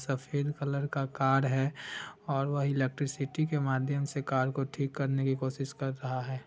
सफ़ेद कलर का कार है और वह इलेक्ट्रिसिटी के माध्यम से कार को ठीक करने की कोशिश कर रहा है।